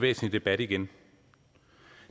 væsentlige debat igen